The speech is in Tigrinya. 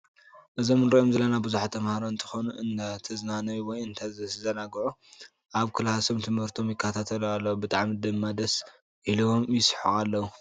እዞም እሪኦም ዘለና ቡዙሓት ተማሃሮ እንተኮኑ እንዳተዝናነዩ ወይ እንዳተዘናግዑ ኣብ ክላሶም ትምህርቶም ይካታተሉ ኣለዉ። ብጣዕሚ ድማ ደስ ኢልዎም ይስሕቁ ኣለዉ።